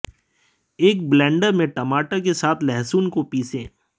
एक ब्लेंडर में टमाटर के साथ लहसुन को पीसें